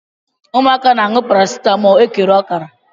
Ụmụaka na-anu paracetamóólú ekere ọkara.